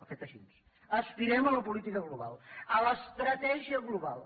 ha fet així aspirem a la política global a l’estratègia global